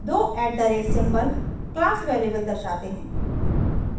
दो @@ symbol class variable दर्शाते हैं